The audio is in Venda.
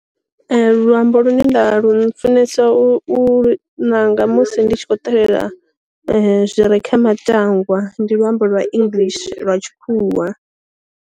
Luambo lune nda lu funesa u lu ṋanga musi ndi tshi kho ṱalela zwire kha matangwa ndi luambo lwa english lwa tshikhuwa.